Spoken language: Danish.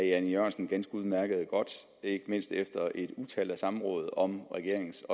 jan e jørgensen ganske udmærket ikke mindst efter et utal af samråd om regeringens